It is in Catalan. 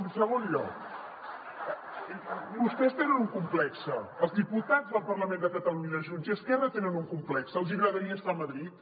en segon lloc vostès tenen un complex els diputats del parlament de catalunya de junts i esquerra tenen un complex els hi agradaria estar a madrid